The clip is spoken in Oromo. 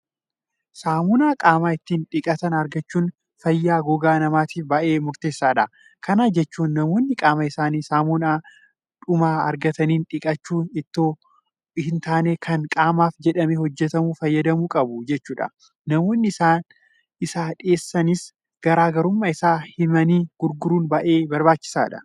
Saamunaa qaama ittiin dhiqatan argachuun fayyaa gogaa namaatiif baay'ee murteessaadha. Kana jechuun namoonni qaama isaanii saamunaadhuma argataniin dhiqachuu itoo hin taane kan qaamaaf jedhamee hojjetamu fayyadamuu qabu jechuudha. Namoonni isa dhiyeessanis garaa garummaa isaa himanii gurguruun baay'ee barbaachisaadha.